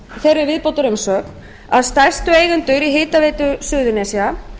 þeirri viðbótarumsögn að stærstu eigendur í hitaveitu suðurnesja